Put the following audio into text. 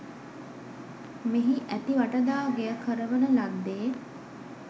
මෙහි ඇති වටදාගෙය කරවන ලද්දේ